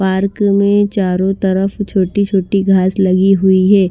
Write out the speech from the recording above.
Park में चारों तरफ छोटी-छोटी घास लगी हुई है।